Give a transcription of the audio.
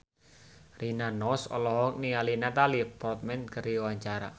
Rina Nose olohok ningali Natalie Portman keur diwawancara